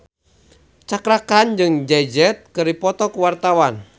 Cakra Khan jeung Jay Z keur dipoto ku wartawan